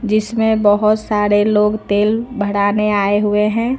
जिसमें बहुत सारे लोग तेल भराने आए हुए हैं।